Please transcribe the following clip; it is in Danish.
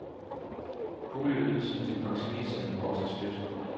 Boligydelsen til pensionisterne vokser støt.